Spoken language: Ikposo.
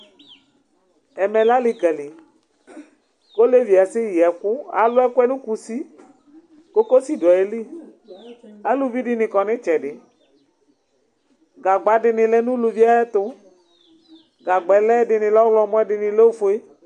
Ɛmɛ lɛ alikali, ku olevie asɛ yi ɛku, alu ɛku yɛ nu kusi, kokosi du ayili aluvi dini kɔnu itsɛdi, gagba di ni lɛ nu uluvi yɛ tu, gagbɛ lɛ ɛdini lɛ ɔwlɔmɔ ɛdini lɛ ofue